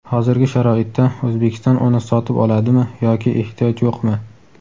hozirgi sharoitda O‘zbekiston uni sotib oladimi yoki ehtiyoj yo‘qmi?.